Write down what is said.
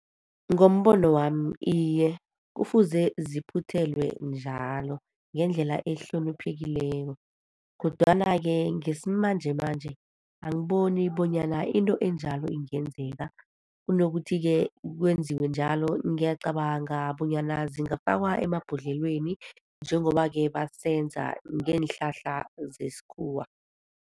Ngombono wami, iye kufuze ziphuthelwe njalo, ngendlela ehloniphekileko. Kodwana-ke ngesimanjemanje, angiboni bonyana into enjalo ingenzeka. Kunokuthi-ke kwenziwe njalo, ngiyacabanga bonyana zingafakwa emabhodlweleni, njengoba-ke basenza ngeenhlahla zesikhuwa.